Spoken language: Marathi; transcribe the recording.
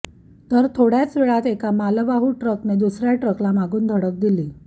तर थोडय़ाच वेळात एका मालवाहू ट्रकने दुसऱया ट्रकला मागून धडक दिली